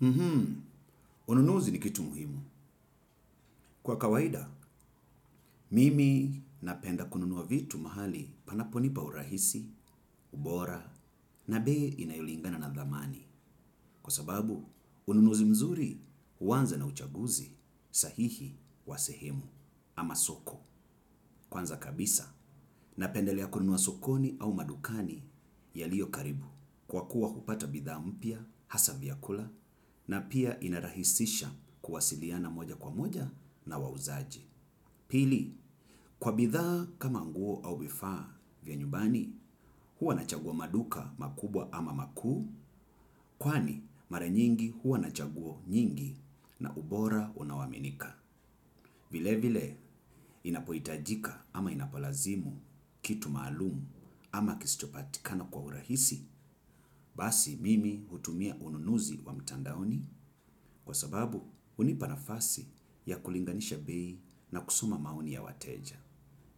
Mhmm, ununuzi ni kitu muhimu. Kwa kawaida, mimi napenda kununua vitu mahali panaponipa urahisi, ubora na bei inayolingana na dhamani. Kwa sababu, ununuzi mzuri huanza na uchaguzi sahihi wa sehemu ama soko. Kwanza kabisa napendelea kununua sokoni au madukani yaliyo karibu. Kwa kuwa kupata bidhaa mpya, hasa vyakula na pia inarahisisha kuwasiliana moja kwa moja na wauzaji. Pili, kwa bidhaa kama nguo au vifaa vya nyumbani huwa nachagua maduka makubwa ama makuu. Kwani, mara nyingi huwa nachagua nyingi na ubora unaoaminika. Vile vile, inapohitajika ama inapolazimu kitu maalumu ama kisichopatikana kwa urahisi, basi mimi hutumia ununuzi wa mitandaoni kwa sababu hunipa nafasi ya kulinganisha beii na kusoma maoni ya wateja.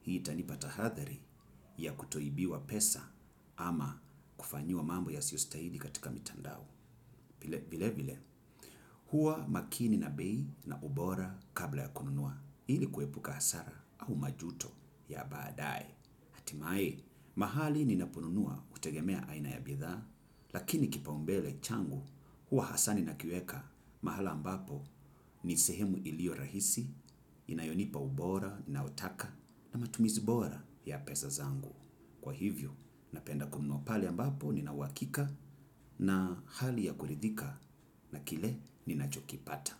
Hii itanipata tahadhari ya kutoibiwa pesa ama kufanyiwa mambo yasiyostahili katika mitandao. Vile vile, huwa makini na bei na ubora kabla ya kununua ili kuepuka hasara au majuto ya baadaye. Hatimaye, mahali ninaponunua hutegemea aina ya bidhaa, lakini kipaombele changu huwa hasa ninakiweka mahala ambapo ni sehemu iliyo rahisi inayonipa ubora ninaotaka na matumizi bora ya pesa zangu. Kwa hivyo, napenda kununua pale ambapo nina uhakika na hali ya kuridhika na kile ninachokipata.